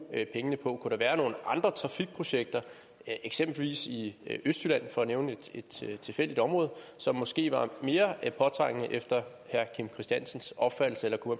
pengene på kunne der være nogle andre trafikprojekter eksempelvis i østjylland bare for at nævne et tilfældigt område som måske var mere påtrængende efter herre kim christiansens opfattelse eller kunne